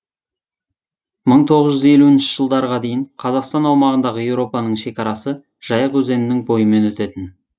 мың тоғыз жүз елуінші жылдарға дейін қазақстан аймағындағы еуропаның шекарасы жайық өзенінің бойымен өтетін